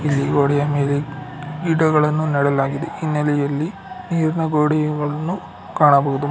ಇಲ್ಲಿ ಗೋಡೆಯ ಮೇಲೆ ಗಿಡಗಳನ್ನು ನೆಡಲಾಗಿದೆ ಹಿನ್ನೆಲೆಯಲ್ಲಿ ನೀರಿನ ಗೋಡೆಯುಗಳನ್ನು ಕಾಣಬಹುದು.